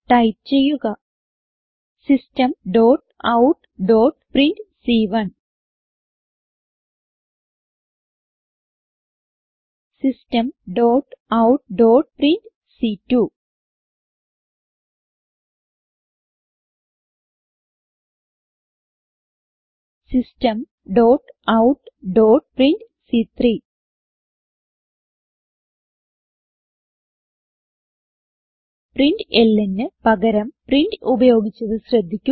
type ചെയ്യുക systemoutപ്രിന്റ് systemoutപ്രിന്റ് systemoutപ്രിന്റ് printlnന് പകരം പ്രിന്റ് ഉപയോഗിച്ചത് ശ്രദ്ധിക്കുക